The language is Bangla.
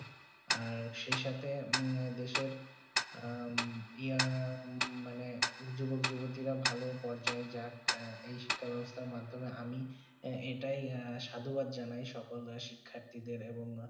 আর সেই সাথে দেশের উগ্যোগপরিজটা ভালো পরিচয়ে যাক যেই শিক্ষা বেবস্তা মাধ্যমে আমি যেটাই সাদবা জানাই সকল শিখ্যার্থী দের